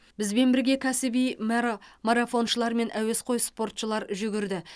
бізбен бірге кәсіби мәра марафоншылар мен әуесқой спортшылар жүгірді